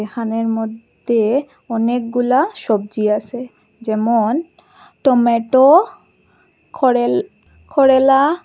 দোকানের মদ্যে অনেকগুলা সবজি আসে যেমন টমেটো করেল করেলা।